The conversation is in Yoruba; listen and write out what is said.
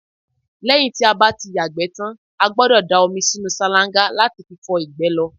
lẹ́yìn tí a bá ti yàgbẹ́ tan, a gbọ́dọ̀ da omi sínú sálángá láti fi fọ ìgbẹ́ lọ